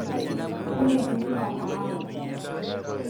kumpe idipa aawa